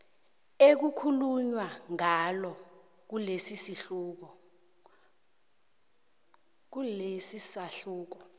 ekukhulunywa ngalo kilesisahluko